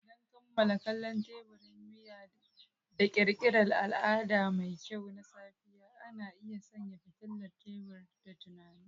Don kammala kallon teburin miya da ƙirƙirar al'ada mai kyau na safiya, ana iya sanya fitilar tebur da tunani.